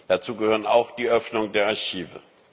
Dazu gehört auch die Öffnung der Archive.